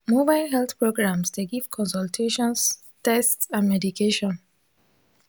mobile health programs dey do tests consultations and medication.